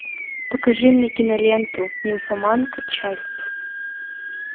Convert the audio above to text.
покажи мне киноленту нимфоманка часть